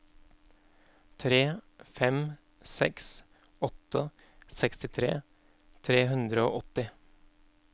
tre fem seks åtte sekstitre tre hundre og åtti